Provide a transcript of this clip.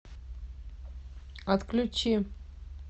отключи